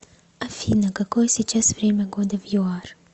афина какое сейчас время года в юар